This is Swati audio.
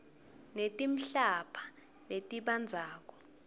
netimphahla letibandzako